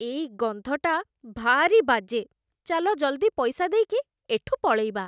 ଏଇ ଗନ୍ଧଟା ଭାରି ବାଜେ । ଚାଲ ଜଲ୍ଦି ପଇସା ଦେଇକି ଏଠୁ ପଳେଇବା ।